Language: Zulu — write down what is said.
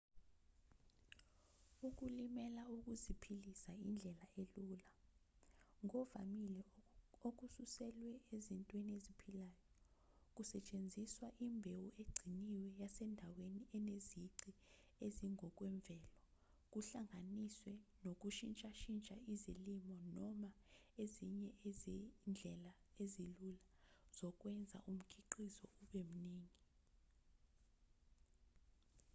ukulimela ukuziphilisa indlela elula ngovamile okususelwe ezintweni eziphilayo kusetshenziswa imbewu egciniwe yasendaweni enezici ezingokwemvelo kuhlanganiswe nokushintshashintsha izilimo noma ezinye izindlela ezilula zokwenza umkhiqizo ube mningi